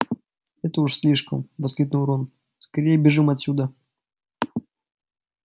это уж слишком воскликнул рон скорее бежим отсюда